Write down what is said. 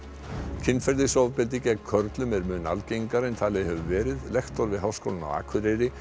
kynferðisofbeldi gegn körlum er mun algengara en talið hefur verið lektor við Háskólann á Akureyri